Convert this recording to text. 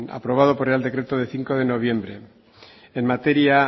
aprobado por el real decreto de cinco de noviembre en materia